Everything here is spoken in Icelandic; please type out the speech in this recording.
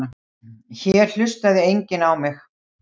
Hér hlustaði enginn á mig.